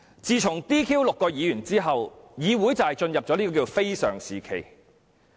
自從將6名議員 "DQ" 了之後，議會便進入非常時期。